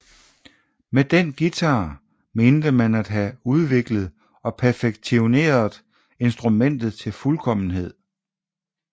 Med den guitar mente man at have udviklet og perfektioneret instrumentet til fuldkommenhed